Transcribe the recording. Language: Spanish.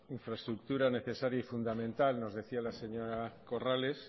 infraestructura necesaria y fundamental nos decía la señora corrales